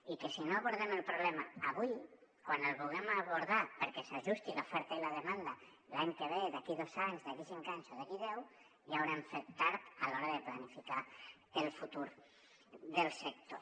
i que si no abordem el problema avui quan el vulguem abordar perquè s’ajusti l’oferta i la demanda l’any que ve d’aquí a dos anys d’aquí a cinc anys o d’aquí a deu ja haurem fet tard a l’hora de planificar el futur del sector